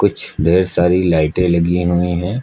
कुछ ढेर सारी लाइटें लगी हुई है।